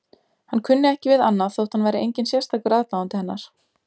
Hann kunni ekki við annað þótt hann væri enginn sérstakur aðdáandi hennar.